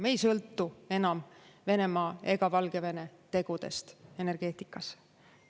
Me ei sõltu enam Venemaa ega Valgevene tegudest energeetikas.